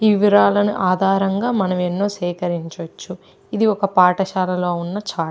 ఈ వివరాలు ఆధారంగా మనం ఎన్నో సేకరించచ్చు. ఇది ఒక పాఠశాలలో లో ఉన్న చార్ట్ .